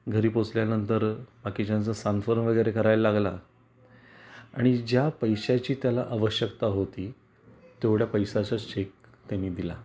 घरी पोहोचल्या नंतर बाकीच्याच सांत्वन वगैरे करायला लागला आणि ज्या पैशाची त्याला आवश्यकता होती तेवढा पैश्याचा चेक त्यानी दिला.